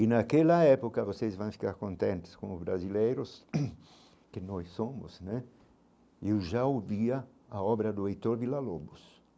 E naquela época vocês vão ficar contentes como brasileiros, que nós somos né, e eu já ouvia a obra do Heitor Villa-Lobos.